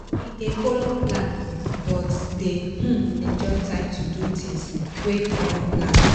e dey follow plan but dey um enjoy time to do things wey e no plan